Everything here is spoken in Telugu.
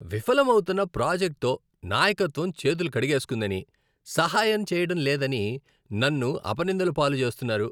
విఫలమౌతున్న ప్రాజెక్ట్తో నాయకత్వం చేతులు కడిగేస్కుందని, సహాయం చేయడం లేదని నన్ను అపనిందల పాలు చేస్తున్నారు.